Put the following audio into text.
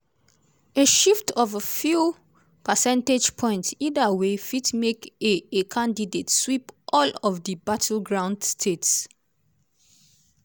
a shift of a few percentage points either way fit make a a candidate sweep all of di battleground states.